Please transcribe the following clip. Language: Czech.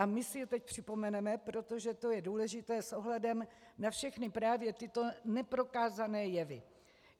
A my si je teď připomeneme, protože to je důležité s ohledem na všechny právě tyto neprokázané jevy.